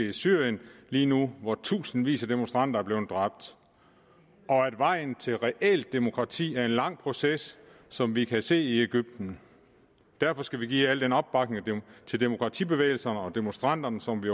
i syrien lige nu hvor tusindvis af demonstranter er blevet dræbt og at vejen til reelt demokrati er en lang proces som vi kan se det i egypten derfor skal vi give al den opbakning til demokratibevægelserne og demonstranterne som vi